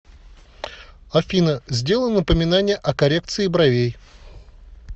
афина сделай напоминание о коррекции бровей